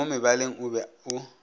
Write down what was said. le molebaleng o be o